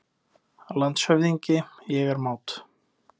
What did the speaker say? LANDSHÖFÐINGI: Ég er mát!